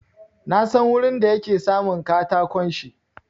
Na san wurin da yake samun katakon shi.